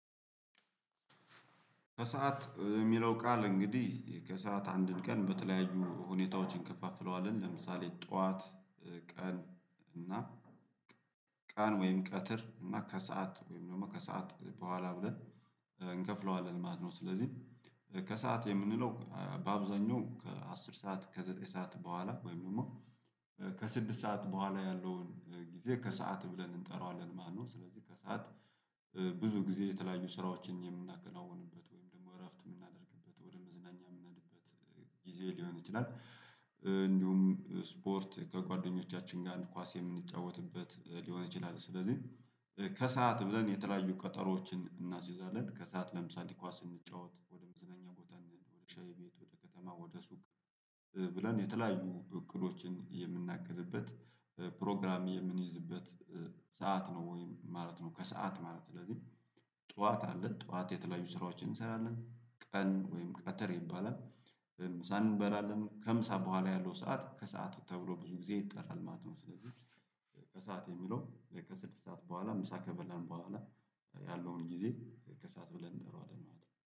ከሰአት የሚለው ቃል እንግዲህ ከሰአት አንድን ቀን በተለያዩ ሁኔታዎችን እንከፋፍለዋለን ለምሳሌ ጠዋት ቀን እና ቀን ወይም ቀትር እና ከሰአት ወይም ደግሞ ከሰአት በኋላ ብለን እንከፍለዋለን ማነው ስለዚህ ከሰአት የምንለው በአብዛኛው ከአስር ሰዓት ከዘጠኝ ሰዓት በኋላ ወይም ደግሞ ከስድስት ሰዓት በኋላ ያለውን ጊዜ ከሰአት ብለን እንጠራዋለን። ማነው ስለዚህ ከሰአት ብዙ ጊዜ የተለያዩ ስራዎችን የምናከናውንበት ወይም ደግሞ እረፍት የምናደርግበት ወደ መዝናኛ የምናድበት ጊዜ ሊሆን ይችላል። ስፖርት ከጓደኞቻችን ጋር እግር ኳስ የምንጫወትበት ሊሆን ይችላል። ስለዚህ ከሰአት ብለን የተለያዩ ቀጠሮዎችን እናስይዛለን ከሰአት ለምሳሌ ኳስ ስንጫወት ወደ መዝነኛ ወተን ወደ ሻይ ቤት ወደ ከተማ ወደ ሱቅ ብለን የተለያዩ እቅዶችን የምቅድበት ፕሮግራም የምንይዝበት ሰዓት ነው ወይም ማለት ነው። ከሰአት ማለት ስለዚህ ጠዋት አለ ጠዋት የተለያዩ ስራዎችን እንሰራለን ቀን ወይም ቀትር ይባላል ምሳ እንበላለን ከምሳ በኋላ ያለው ሰዓት ከሰአት ተብሎ ብዙ ጊዜ ይጠራል ማለት ነው። ስለዚህ ከሰአት የሚለው ከስድስት ሰዓት በኋላ ምሳ ከበላን በኋላ ያለውን ጊዜ ከሰአት ብለን እንጠራዋለን ማለት ነው